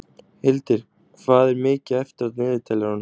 Hildir, hvað er mikið eftir af niðurteljaranum?